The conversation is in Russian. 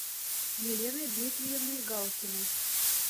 еленой дмитриевной галкиной